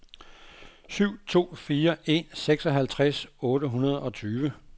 syv to fire en seksoghalvtreds otte hundrede og tyve